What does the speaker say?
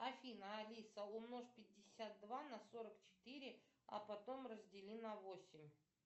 афина алиса умножь пятьдесят два на сорок четыре а потом раздели на восемь